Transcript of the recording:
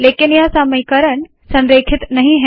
लेकिन यह समीकरण संरेखित नहीं है